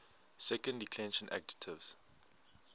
second declension adjectives